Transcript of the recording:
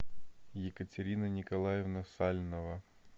екатерина николаевна сальнова